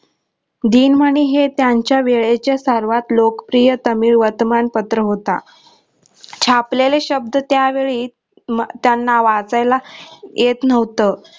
दिनमनी हे त्यांच्या वेळेचा सर्वात लोकप्रिय वर्तमान तमिळ वर्तमान पत्र होता छापलेले शब्द त्या वेळी त्यांना वाचायला येत नव्हत.